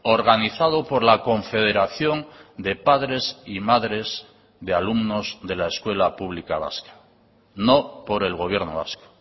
organizado por la confederación de padres y madres de alumnos de la escuela pública vasca no por el gobierno vasco